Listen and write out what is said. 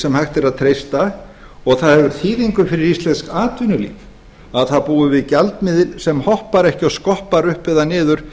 sem hægt er að treysta og það hefur þýðingu fyrir íslenskt atvinnulíf að það búi við gjaldmiðil sem hoppar ekki og skoppar upp eða niður